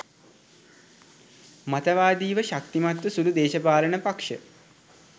මතවාදිව ශක්තිමත් සුළු දේශපාලන පක්‍ෂ